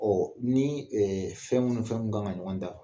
nii fɛn mu ni fɛn mun kan ka ɲɔgɔn dafa